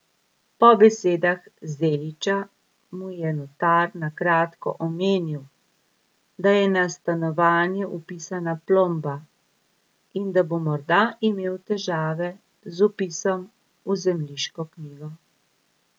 Po besedah Zeliča mu je notar na kratko omenil, da je na stanovanje vpisana plomba in da bo morda imel težave z vpisom v zemljiško knjigo.